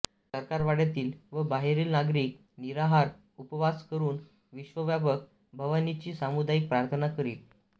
सरकारवाड्यातील व बाहेरील नागरिक निराहार उपवास करून विश्वव्यापक भवानीची सामुदायिक प्रार्थना करीत